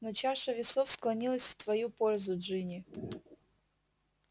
но чаша весов склонилась в твою пользу джинни